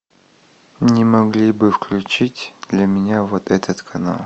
не могли бы включить для меня вот этот канал